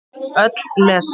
Öll lesa.